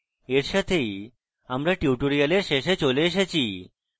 এই সাথেই আমরা tutorial শেষে চলে এসেছি